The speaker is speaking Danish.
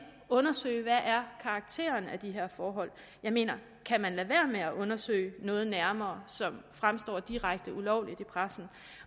undersøge hvad karakteren er af de her forhold jeg mener kan man lade være med at undersøge noget nærmere som fremstår direkte ulovligt i pressen